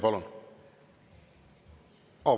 Palun!